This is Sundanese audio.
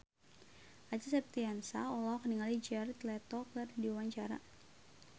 Acha Septriasa olohok ningali Jared Leto keur diwawancara